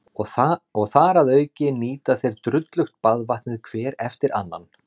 Og þar að auki nýta þeir drullugt baðvatnið hver eftir annan.